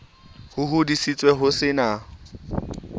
ba hodisitswe ho se na